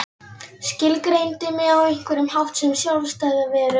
Skilgreindi mig á einhvern hátt sem sjálfstæða veru.